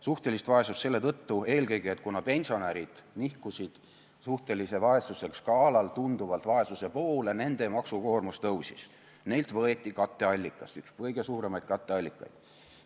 Suhtelist vaesust selle tõttu eelkõige, et pensionärid nihkusid suhtelise vaesuse skaalal tunduvalt vaesuse poole, nende maksukoormus tõusis, see oli üks kõige suuremaid katteallikaid.